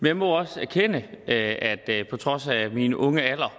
jeg må også erkende at jeg på trods af min unge alder